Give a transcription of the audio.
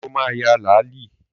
Sọ ma ya làálí?